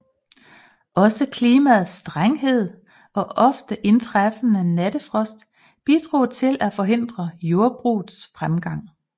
Også klimaets strenghed og ofte indtræffende nattefrost bidrog til at forhindre jordbrugets fremgang